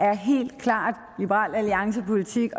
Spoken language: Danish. er helt klart liberal alliances politik